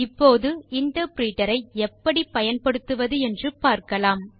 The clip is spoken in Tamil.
இப்போது இன்டர்பிரிட்டர் ஐ எப்படி பயன்படுத்துவது என்று பார்க்கலாம்